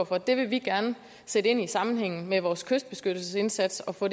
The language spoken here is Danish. for det vil vi gerne sætte ind i en sammenhæng med vores kystbeskyttelsesindsats og få